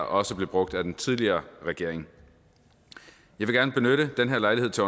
også blev brugt af den tidligere regering jeg vil gerne benytte den her lejlighed til